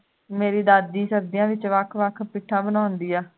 ਮੇਰੀ ਦਾਦੀ ਸਰਦੀਆਂ ਦੇ ਵਿੱਚ ਵੱਖ ਵੱਖ ਪਿੱਠਾਂ ਬਣਾਉਂਦੀ ਹੈ